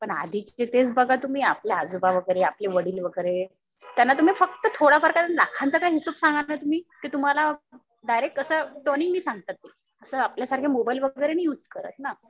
पण आधीचे तेच बघा तुम्ही आपले आजोबा वगैरे आपले वडील वगैरे. त्यांना तुम्ही फक्त थोडंफार काही लाखांचा काही हिशोब सांगितला तुम्ही ते तुम्हाला डायरेक्ट असं त्वरेने सांगतात ते. असं आपल्या सारखं मोबाईल वगैरे नाही युझ करत ना.